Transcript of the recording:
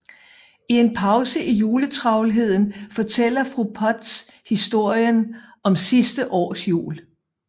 I en pause i juletravlheden fortæller fru Potts historien om sidste års jul